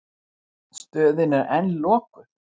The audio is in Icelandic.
Stöðin er enn lokuð.